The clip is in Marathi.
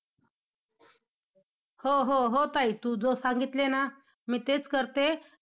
हो हो हो ताई, तू जो सांगितलं ना, मी तेच करते.